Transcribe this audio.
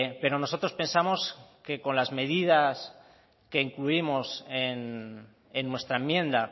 pero nosotros pensamos que con las medidas que incluimos en nuestra enmienda